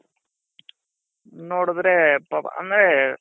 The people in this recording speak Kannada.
ನೋಡುದ್ರೆ ಪಾಪ ಅಂದ್ರೆ